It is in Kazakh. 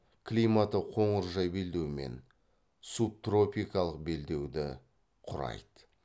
климаты қоңыржай белдеумен субтропикалық белдеуді құрайды